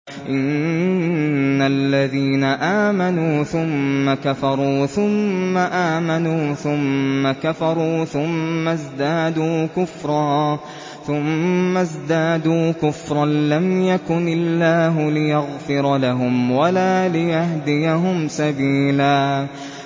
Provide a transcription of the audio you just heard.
إِنَّ الَّذِينَ آمَنُوا ثُمَّ كَفَرُوا ثُمَّ آمَنُوا ثُمَّ كَفَرُوا ثُمَّ ازْدَادُوا كُفْرًا لَّمْ يَكُنِ اللَّهُ لِيَغْفِرَ لَهُمْ وَلَا لِيَهْدِيَهُمْ سَبِيلًا